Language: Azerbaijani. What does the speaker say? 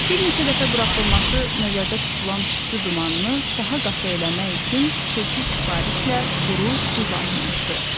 Bir neçə dəfə buraxılması nəzərdə tutulan tüstü dumanını daha qatı eləmək üçün xüsusi sifarişlə quru buz alınmışdı.